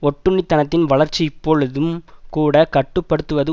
ஒட்டுண்ணித்தனத்தின் வளர்ச்சி இப்பொழுதும் கூட கட்டு படுத்துவது